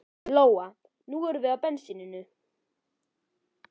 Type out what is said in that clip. Lóa: Nú erum við á bensíninu?